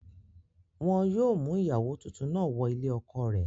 Wọn yóò mú ìyàwó tuntun náà wọ ilé ọkọ rẹ̀